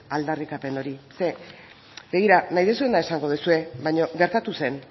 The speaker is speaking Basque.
aldarrikapen hori nahi duzuena esango duzue baina gertatu zen